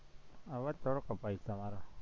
અવાજ થોડોક કપાય છે તમારો